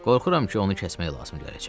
Qorxuram ki, onu kəsmək lazım gələcək.